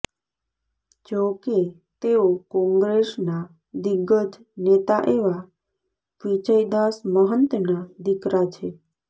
જો કે તેઓ કોંગ્રેસના દિગ્ગજ નેતા એવા વિજયદાસ મહંતના દીકરા છે